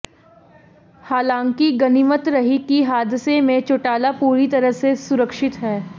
हालाकि गनीमत रही कि हादसे में चौटाला पूरी तरह से सुरक्षित हैं